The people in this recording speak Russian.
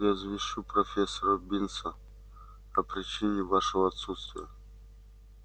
я извещу профессора бинса о причине вашего отсутствия